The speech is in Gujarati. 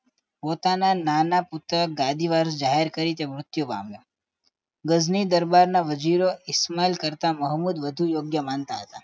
પોતાના નાના પુત્રને ગાદી વાત જાહેર કરીને મૃત્યુ પામ્યો ગજની દરબારના હજીરો ઈશમાલ કરતા મોહમ્મદ વધુ યોગ્ય માનતા હતા